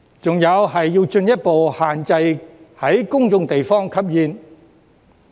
還有就是要進一步限制在公眾地方吸煙。